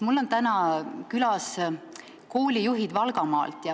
Mul aga on täna külas koolijuhid Valgamaalt.